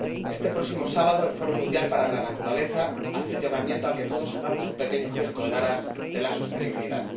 Este próximo sábado, el Fondo Mundial para la Naturaleza hace un llamamiento para que todos hagamos un pequeño gesto en aras de la sostenibilidad.